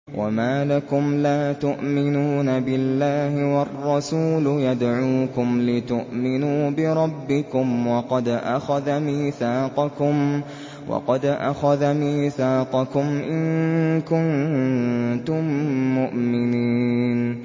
وَمَا لَكُمْ لَا تُؤْمِنُونَ بِاللَّهِ ۙ وَالرَّسُولُ يَدْعُوكُمْ لِتُؤْمِنُوا بِرَبِّكُمْ وَقَدْ أَخَذَ مِيثَاقَكُمْ إِن كُنتُم مُّؤْمِنِينَ